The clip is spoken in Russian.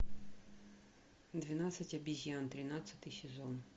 двенадцать обезьян тринадцатый сезон